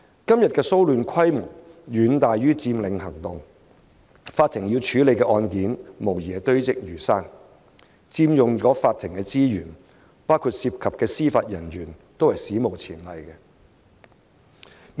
今天的騷亂規模遠大於佔領行動，法庭要處理的案件無疑堆積如山，所佔用的法庭資源，包括司法人員，都是史無前例的。